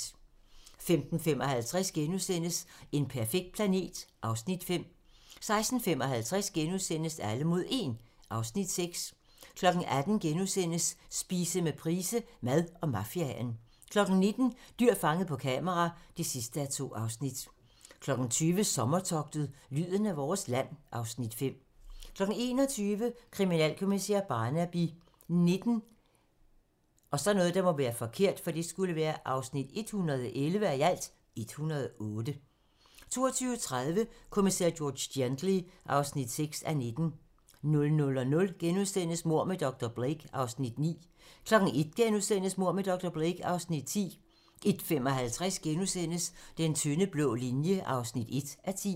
15:55: En perfekt planet (Afs. 5)* 16:55: Alle mod 1 (Afs. 6)* 18:00: Spise med Price - Mad og mafiaen * 19:00: Dyr fanget på kamera (2:2) 20:00: Sommertogtet - lyden af vores land (Afs. 5) 21:00: Kriminalkommissær Barnaby XIX (111:108) 22:30: Kommissær George Gently (6:19) 00:00: Mord med dr. Blake (Afs. 9)* 01:00: Mord med dr. Blake (Afs. 10)* 01:55: Den tynde blå linje (1:10)*